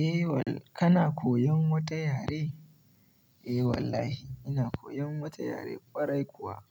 Eh wal-- kana koyan wata yare? Eh wallahi, ina koyan wata yare ƙwarai kuwa.